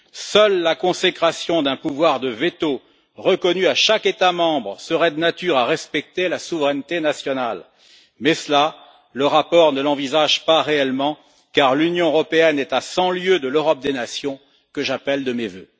Seule la consécration d'un pouvoir de veto, reconnu à chaque État membre, serait de nature à respecter la souveraineté nationale, mais le rapport ne l'envisage pas réellement, car l'Union européenne est à cent lieues de l'Europe des nations, que j'appelle de mes vœux.